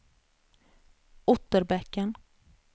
Otterbäcken